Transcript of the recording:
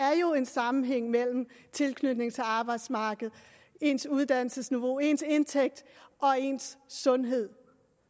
er jo en sammenhæng mellem tilknytningen til arbejdsmarkedet ens uddannelsesniveau ens indtægt og ens sundhed